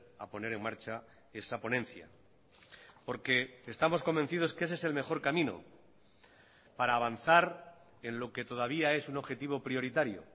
a poner en marcha esa ponencia porque estamos convencidos que ese es el mejor camino para avanzar en lo que todavía es un objetivo prioritario